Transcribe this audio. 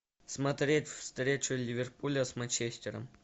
смотреть встречу ливерпуля с манчестером